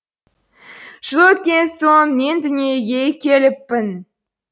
жыл өткен соң мен дүниеге келіппін